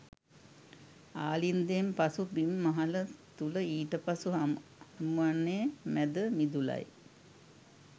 ආලින්දයෙන් පසු බිම් මහල තුළ ඊට පසු හමුවන්නේ මැද මිදුලයි.